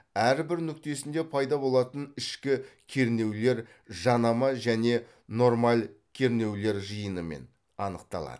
әрбір нүктесінде пайда болатын ішкі кернеулер жанама және нормаль кернеулер жиынымен анықталады